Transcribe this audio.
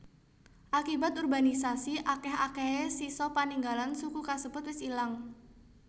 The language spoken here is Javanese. Akibat urbanisasi akèh akèhé sisa paninggalan suku kasebut wis ilang